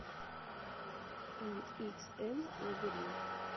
эниксэн лабиринт